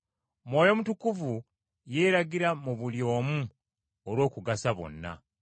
Mwoyo Mutukuvu yeeragira mu buli omu olw’okugasa bonna.